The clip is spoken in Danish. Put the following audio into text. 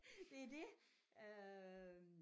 Det er det øh